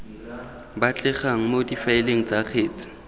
batlegang mo difaeleng tsa kgetsi